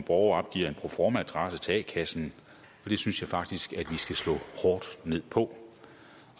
borger opgiver en proformaadresse til a kassen og det synes jeg faktisk vi skal slå hårdt ned på